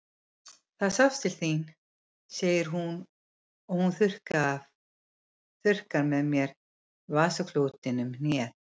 Það sást til þín, segir hún og hún þurrkar mér með vasaklúti um hnéð.